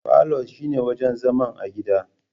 Falo shine wajan zaman a gida